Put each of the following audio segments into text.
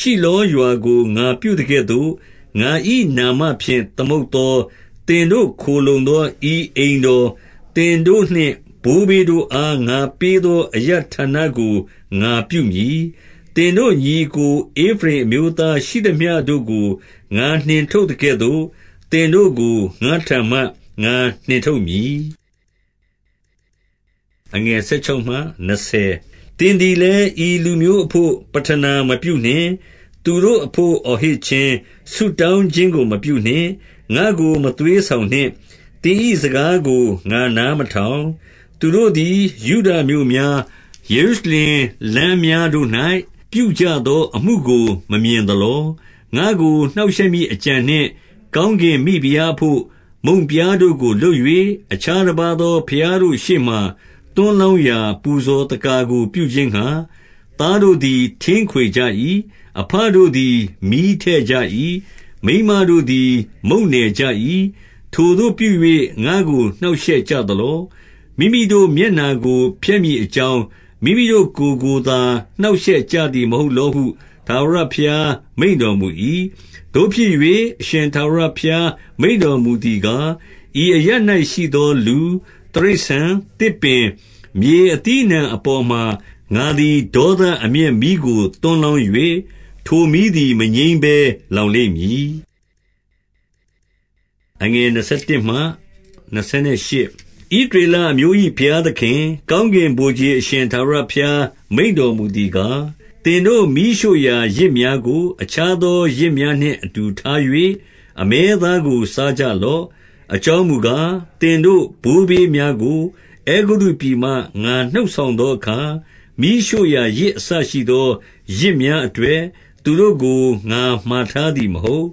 ၊ 14 ရှိလောရွာကို ငါပြုသကဲ့သို့၊ ငါ၏နာမဖြင့် သမုတ်သော၊ သင်တို့ ခိုလှုံသော ဤအိမ်တော်၊ သင်တို့နှင့် ဘိုးဘေးတို့အား ငါပေးသော အရပ်ဌာနကို ငါပြုမည်။ 15 သင်တို့ညီအစ်ကို ဧဖရိမ်အမျိုးသားရှိသမျှတို့ကို ငါနှင့်ထုတ်သကဲ့သို့၊ သင်တို့ကို ငါ့ထံမှ ငါနှင့်ထုတ်မည်။ 16 သင်သည်လည်း ဤလူမျိုးအဘို့ ပဌနာမပြုနှင့်။ သူတို့အဘို့ အော်ဟစ်ခြင်း၊ ဆုတောင်းခြင်းကို မပြုနှင့်။ ငါ့ကိုမသွေးဆောင်နှင့်။ သင်၏ စကားကို ငါနားမထောင်။ 17 သူတို့သည် ယုဒမြို့များ၊ ယေရုရှလင်လမ်းများ တို့၌ ပြုကြသော အမှုကို မမြင်သလော။ 18 ငါ့ကို နှောင့်ရှက်မည်အကြံနှင့်၊ ကောင်းကင် မိဖုရားအဘို့ မုန့်ပြားတို့ကို လုပ်၍၊ အခြားတပါးသော ဘုရားတို့ရှေ့မှာ သွန်းလောင်းရာ ပူဇော် သက္ကာကိုပြုခြင်း ငှါ၊ သားတို့သည် ထင်းခွေကြ၏။ အဘတို့သည် မီးထည့် ကြ၏။ မိန်းမတို့သည် မုန့်နယ်ကြ၏။ 19 ထိုသို့ပြု၍ ငါ့ကိုနှောင့်ရှက်ကြသလော။ မိမိတို့ မျက်နှာကို ဖျက်မည်အကြောင်း၊ မိမိတို့ကိုယ်ကိုသာ နှောင့် ရှက်ကြသည်မဟုတ်လောဟု ထာဝရဘုရား မိန့်တော် မူ၏။ 20 သို့ဖြစ်၍၊ အရှင်ထာဝရဘုရား မိန့်တော်မူသည် ကား၊ ဤအရပ် ၌ရှိသောလူ၊ တိရစ္ဆာန်၊ သစ်ပင်၊ မြေ အသီးအနှံအပေါ်မှာ ငါသည် ဒေသအမျက် မီးကို သွန်းလောင်း၍၊ ထိုမီးသည် မငြိမ်းဘဲလောင်လိမ့်မည်။ 21 ဣသရေလအမျိုး၏ ဘုရားသခင်၊ ကောင်းကင် ဗိုလ်ခြေအရှင် ထာဝရဘုရား မိန့်တော်မူသည်ကား၊ သင်တို့ မီးရှို့ရာ ယဇ်များကို အခြားသော ယဇ်များနှင့် အတူထား၍၊ အမဲသားကိုစားကြလော့။ 22 အကြောင်းမူကား၊ သင်တို့ ဘိုးဘေးများကို အဲဂုတ္တုပြည်မှ ငါနှုတ်ဆောင်သောအခါ၊ မီးရှို့ရာယဇ် အစရှိသော ယဇ်များအတွက် သူတို့ကို ငါမှာထားသည် မဟုတ်။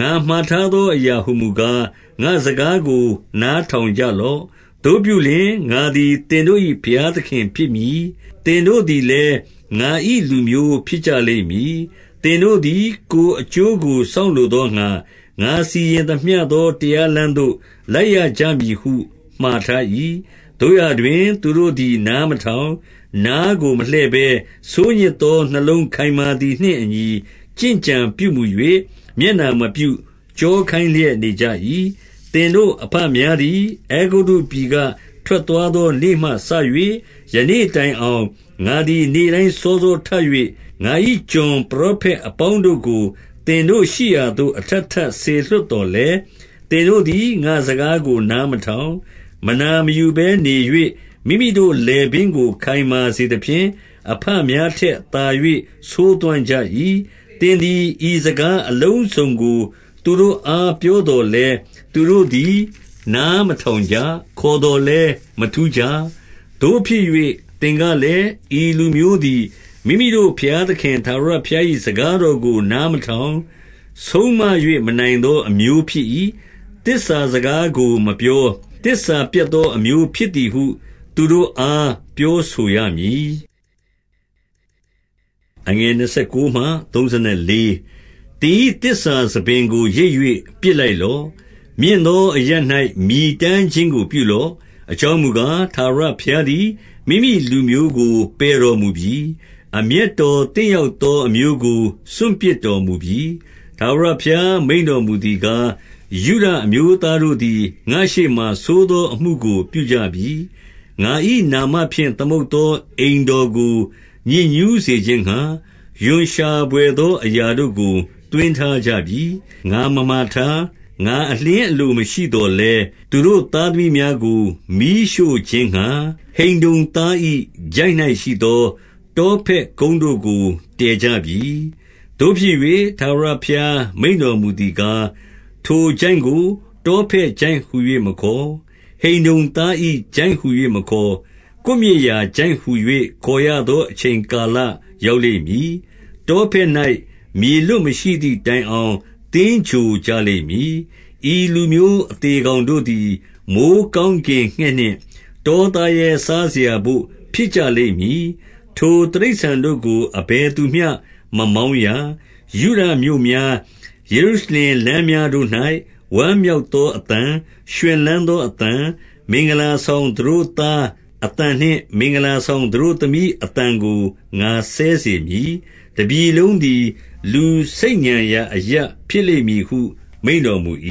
23 ငါမှာထားသောအရာဟူမူကား၊ ငါ့စကားကို နားထောင်ကြလော့။ သို့ပြုလျှင်၊ ငါသည်သင်တို့၏ ဘုရား သခင်ဖြစ်မည်။ သင်တို့သည်လည်း၊ ငါ၏လူမျိုးဖြစ်ကြ လိမ့်မည်။ သင်တို့သည် ကိုယ်အကျိုးကို စောင့်လိုသောငှါ၊ ငါစီရင်သမျှသော တရားလမ်းသို့ လိုက်ရကြမည်ဟု မှာထား၏။ 24 သို့ရာတွင်၊ သူတို့သည် နားမထောင်၊ နားကို မလှည့်ဘဲ ဆိုးညစ်သော နှလုံးခိုင်မာသည်နှင့်အညီ ကျင့်ကြံပြုမူ၍ မျက်နှာမပြု၊ ကျောခိုင်းလျက် နေကြ၏။ 25 သင်တို့အဘများသည် အဲဂုတ္တုပြည်က ထွက် သွားသောနေ့မှစ၍ ယနေ့တိုင်အောင်၊ ငါသည် နေ့တိုင်း စောစောထ၍၊ ငါ၏ကျွန်ပရောဖက်အပေါင်းတို့ကို သင်တို့ရှိရာသို့ အထပ်ထပ်စေလွှတ်သော်လည်း၊ 26 သင်တို့သည် ငါ့စကားကို နားမထောင်၊ မနာ မယူဘဲနေ၍ မိမိတို့ လည်ပင်းကို ခိုင်မာစေသဖြင့်၊ အဘများထက်သာ၍ ဆိုးသွမ်းကြ၏။ 27 သင်သည် ဤစကားအလုံးစုံကို သူတို့အား ပြောသော်လည်း၊ သူတို့သည် နားမထောင်ကြ။ ခေါ်သော် လည်း မထူးကြ။ 28 သို့ဖြစ်၍ သင်ကလည်း၊ ဤလူမျိုးသည် မိမိတို့ ဘုရားသခင် ထာဝရဘုရား၏စကားတော်ကို နား မထောင်၊ ဆုံးမ၍ မနိုင်သောအမျိုး ဖြစ်၏။ သစ္စာစကား ကိုမပြော၊ သစ္စာပျက်သော အမျိုးဖြစ်သည်ဟု သူတို့အား ပြောဆိုရမည်။ 29 သင်၏သစ္စာဆံပင်ကို ရိတ်၍ ပစ်လိုက်လော့။ မြင့်သောအရပ်၌ မြည်တမ်းခြင်းကို ပြုလော့။ အကြောင်း မူကား၊ ထာဝရဘုရားသည် မိမိလူမျိုးကို ပယ်တော်မူပြီ။ အမျက်တော်သင့်ရောက်သော အမျိုးကို စွန့်ပစ်တော် မူပြီ။ 30 ထာဝရဘုရား မိန့်တော်မူသည်ကား၊ ယုဒ အမျိုးသားတို့သည် ငါ့ရှေ့မှာဆိုးသော အမှုကိုပြုကြပြီ။ ငါ၏နာမဖြင့် သမုတ်သော အိမ်တော်ကို ညစ်ညူးစေခြင်း ငှါ၊ ရွံရှာဘွယ်သောအရာတို့ကို သွင်းထားကြပြီ။ 31 ငါမမှာထား၊ ငါအလျှင်းအလိုမရှိသော်လည်း၊ သူတို့သားသမီးများကို မီးရှို့ခြင်းငှါ ဟိန္နုံသား၏ချိုင့်၌ ရှိသော တောဖက်ကုန်းတို့ကို တည်ကြပြီ။ 32 သို့ဖြစ်၍၊ ထာဝရဘုရားမိန့်တော်မူသည်ကား၊ ထိုချိုင့်ကို တောဖက်ချိုင့်ဟူ၍မခေါ်၊ ဟိန္နုံသား၏ ချိုင့် ဟူ၍မခေါ်၊ ကွပ်မျက်ရာ ချိုင့်ဟူ၍ ခေါ်ရသော အချိန် ကာလရောက်လိမ့်မည်။ တောဖက်၌ မြေလွတ်မရှိသည် တိုင်အောင် သင်္ဂြိုဟ်ကြလိမ့်မည်။ 33 ဤလူမျိုးအသေကောင်တို့သည် မိုဃ်းကောင်း ကင်ငှက်နှင့် တောသားရဲစားစရာဘို့ ဖြစ်ကြလိမ့်မည်။ ထိုတိရစ္ဆာန်တို့ကို အဘယ်သူမျှ မမောင်းရ။ 34 ယုဒမြို့များ၊ ယေရုရှလင်လမ်းများတို့၌ ဝမ်း မြောက်သောအသံ၊ ရွှင်လန်းသောအသံ၊ မင်္ဂလာဆောင် သတို့သားအသံနှင့်မင်္ဂလာဆောင် သတို့သမီးအသံကိုငါစဲစေမည်။ တပြည်လုံးသည် လူဆိတ်ညံရာအရပ်ဖြစ်လိမ့် မည်ဟုမိန့်တော်မူ၏။